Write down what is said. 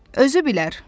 Özü bilər.